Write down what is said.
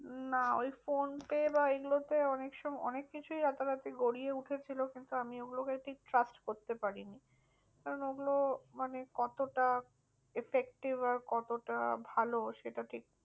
না ওই ফোনপে বা এই গুলো তে অনেক সময় অনেক কিছুই রাতারাতি গজিয়ে উঠেছিল। কিন্তু আমি ওগুলো কে ঠিক trust করতে পারিনি। কারণ ওগুলো মানে কতটা effective আর কতটা ভালো সেটা ঠিক